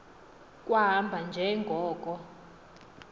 kwahamba nje ngoko